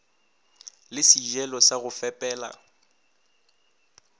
le sejelo sa go fepela